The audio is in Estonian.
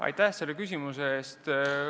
Aitäh selle küsimuse eest!